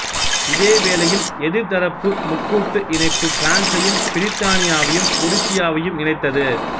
இதே வேளையில் எதிர்தரப்பு முக்கூட்டு இணைப்பு பிரான்சையும் பிரித்தானியாவையும் உருசியாவையும் இணைத்தது